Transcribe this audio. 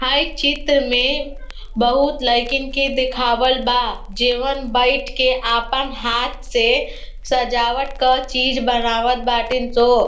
हई चित्र में बहोत लईकन के दिखावल बा। जेवन बईठ के आपन हाथ से सजावट के चीज बनावत बाटिन स।